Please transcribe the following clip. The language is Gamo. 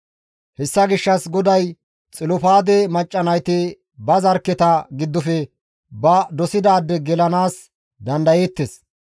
Hessa gishshas GODAY Xilofaade macca nayti ba zarkketa giddofe ba dosidaade gelanaas dandayeettes.